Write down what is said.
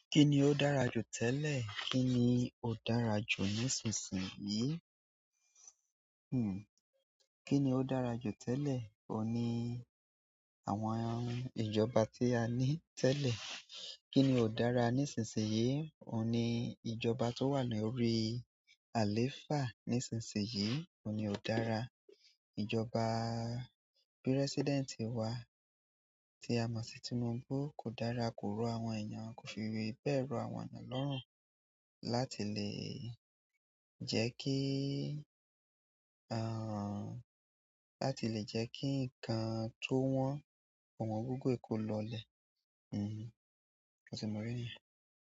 Kíni ó dára jù tẹ́lẹ̀? Kíni ó dára jù nísinsìnyí? Hmm. Kíni ó dára jù tẹ́lẹ̀? Oun ni. Àwọn ìjọba ti a ni tẹlẹ. Kíni ó dára nísinsìnyí? Ó ní ìjọba tó wà lórí àlééfà nísinsìnyí. Ó ní ó dára. Ìjọba President wá tí a mọ̀ sí Tinubu kò dára, kò rọ̀ àwọn èèyàn, kò fi bẹ̀ẹ rọ àwọn eyan lọ́rùn láti lè jẹ́ kí, àhn, lati le jẹ ki nkan to wọn, ọwangogo yìí ko lọ ilẹ. Hmm. Ó ti mọ ìrírí yẹn.